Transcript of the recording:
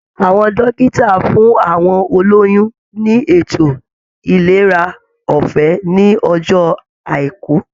Àwọn dókítà fún àwọn olóyún ní ètò ìlera ọfẹ ní ọjọ àìkú